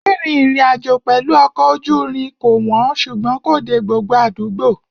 Rírìn ìrìnàjò pẹ̀lú ọkọ̀ ojú irin kò wọ́n ṣùgbọ́n kò dé gbogbo àdúgbò.